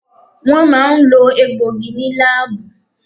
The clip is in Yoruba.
Wọ́n máa ń lo egbòogi ní láábù.